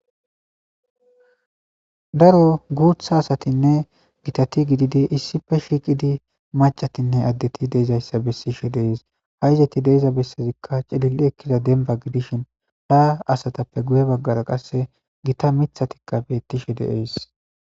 Daro guutha asatinne gitati gididi issife shiiqidi macatinne addeti de7izayssa bessishe deees. Ha7izati de7iza bessezikka cilili ekkida dembba gidishin haa asatappe guye baggara qasse gita mithatikka beettishe deees